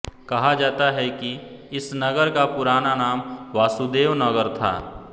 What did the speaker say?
कहा जाता है कि इस नगर का पुराना नाम वासुदेव नगर था